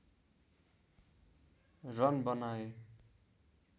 run बनाए